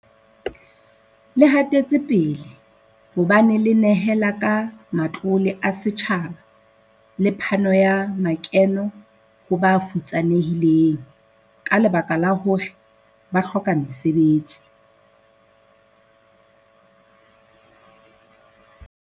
Le hatetsepele, hobane le nehela ka matlole a setjhaba le phano ya makeno ho ba futsanehileng ka lebaka la hore ba hloka mesebetsi.